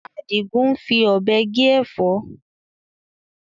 Adigun ń fi Ọ̀bẹ gé Ẹ̀fọ́